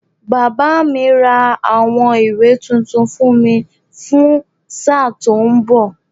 Bàbá mi ra àwọn ìwé tuntun fún mi fún sáà tó ń bọ̀.